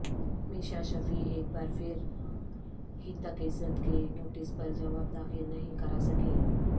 میشا شفیع ایک بار پھر ہتک عزت کے نوٹس پر جواب داخل نہیں کراسکیں